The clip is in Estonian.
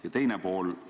Ja teine küsimus.